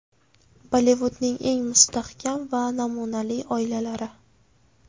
Bollivudning eng mustahkam va namunali oilalari .